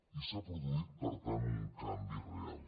i s’ha produït per tant un canvi real